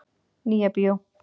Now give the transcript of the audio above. Nýja bíó